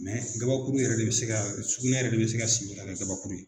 gabakuru yɛrɛ de bɛ se ka sugunɛ yɛrɛ de bɛ se ka simi ka kɛ gabakuru ye.